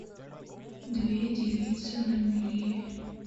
две девицы на мели